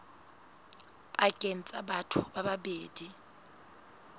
pakeng tsa batho ba babedi